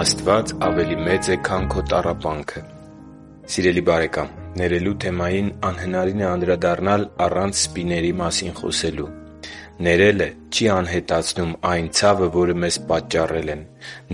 Աստված ավելի մեծ է, քան քո տառապանքը Սիրելի՛ բարեկամ, ներելու թեմային անհնարին է անդրադառնալ, առանց սպիների մասին խոսելու։ Ներելը չի անհետացնում այն ցավը, որը մեզ պատճառել են։